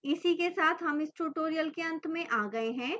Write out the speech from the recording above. इसी के साथ हम इस tutorial के अंत में आ गए हैं